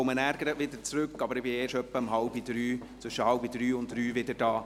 Ich komme gleich danach zurück, bin aber erst zwischen 14.30 und 15.00 Uhr wieder da.